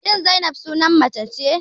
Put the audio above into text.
Shin Zainab sunan mace ne?